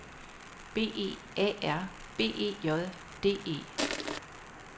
B E A R B E J D E